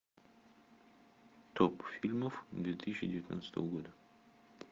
топ фильмов две тысячи девятнадцатого года